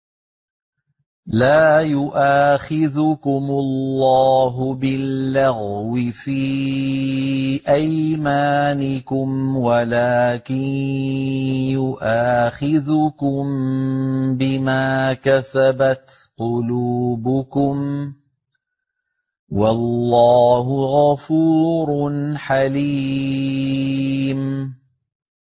لَّا يُؤَاخِذُكُمُ اللَّهُ بِاللَّغْوِ فِي أَيْمَانِكُمْ وَلَٰكِن يُؤَاخِذُكُم بِمَا كَسَبَتْ قُلُوبُكُمْ ۗ وَاللَّهُ غَفُورٌ حَلِيمٌ